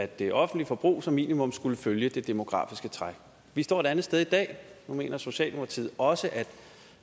det offentlige forbrug som minumum skulle følge det demografiske træk vi står et andet sted i dag nu mener socialdemokratiet også at